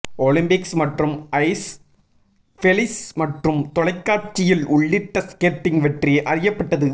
Olympics மற்றும் ice follies மற்றும் தொலைக்காட்சியில் உள்ளிட்ட ஸ்கேட்டிங் வெற்றியை அறியப்பட்டது